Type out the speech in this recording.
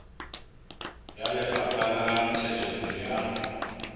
ya lefapha la ntshetsopele ya